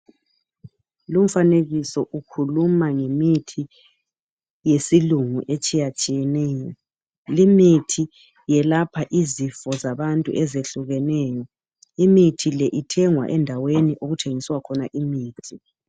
Lumfanekiso ukhuluma ngemithi yesilungu etshiyatshiyeneyo, limithi yelapha izifo zabantu ezehlukeneyo, imithi le ithengwa endaweni okuthengiswa khona imithi.